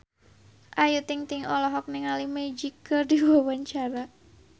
Ayu Ting-ting olohok ningali Magic keur diwawancara